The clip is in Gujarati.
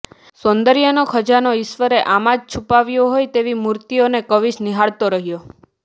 સૌંદર્યનો ખજાનો ઈશ્વરે આમાં જ છુપાવ્યો હોય તેવી મૂર્તિઓને કવિશ નિહાળતો રહ્યો